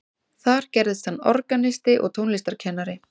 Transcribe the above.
Þar gerðist hann organisti og tónlistarkennari.